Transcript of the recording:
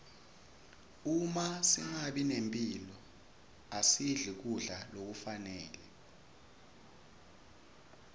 uma singenamphilo asidli kudla lokufanele